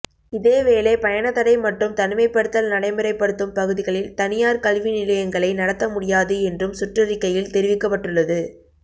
இதேவேளை பயணத் தடை மற்றும் தனிமைப்படுத்தல் நடைமுறைப்படுத்தும் பகுதிகளில் தனியார் கல்வி நிலையங்களை நடத்த முடியாது என்றும் சுற்றறிக்கையில் தெரிவிக்கப்பட்டுள்ளது